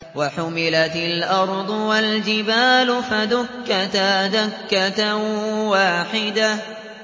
وَحُمِلَتِ الْأَرْضُ وَالْجِبَالُ فَدُكَّتَا دَكَّةً وَاحِدَةً